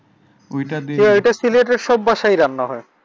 ঐটা সিলেটের সব বাসায়ই রান্না হয়।